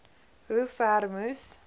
hoe ver moes